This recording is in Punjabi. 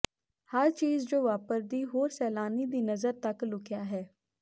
ਹਰ ਚੀਜ ਜੋ ਵਾਪਰਦੀ ਹੋਰ ਸੈਲਾਨੀ ਦੀ ਨਜ਼ਰ ਤੱਕ ਲੁਕਿਆ ਹੈ